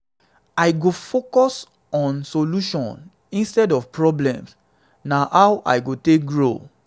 i go focus on solutions instead of problems; na how i go take grow.